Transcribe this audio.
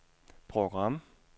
program